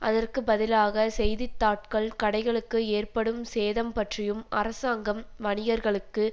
அதற்கு பதிலாக செய்தித்தாட்கள் கடைகளுக்கு ஏற்படும் சேதம் பற்றியும் அரசாங்கம் வணிகர்களுக்கு